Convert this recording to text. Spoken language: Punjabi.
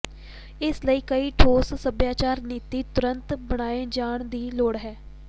ਇਸ ਲਈ ਕੋਈ ਠੋਸ ਸੱਭਿਆਚਾਰ ਨੀਤੀ ਤੁਰੰਤ ਬਣਾਏ ਜਾਣ ਦੀ ਲੋੜ ਹੈ